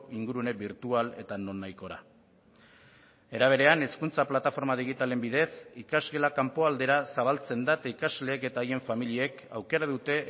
ingurune birtual eta nonahikora era berean hezkuntza plataforma digitalen bidez ikasgela kanpoaldera zabaltzen da eta ikasleek eta haien familiek aukera dute